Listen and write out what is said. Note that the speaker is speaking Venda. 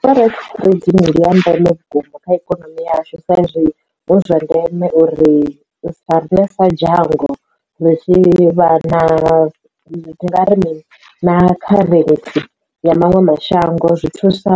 Forex trading ndi ya ndeme vhukuma kha ikonomi yashu saizwi huzwa ndeme uri sa riṋe sa dzhango ri tshi vha na ndi nga ri mini kharentsi ya maṅwe mashango zwi thusa